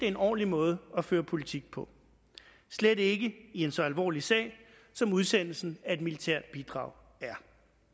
en ordentlig måde at føre politik på slet ikke i i en så alvorlig sag som udsendelsen af et militært bidrag er